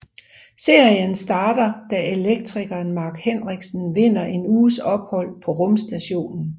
Serien starter da elektrikeren Mark Henriksen vinder en uges ophold på rumstationen